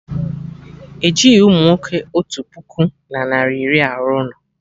Ejighị umunwoke otu puku na narị iri arụ ụlọ